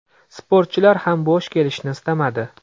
Sportchilar ham bo‘sh kelishni istamadi.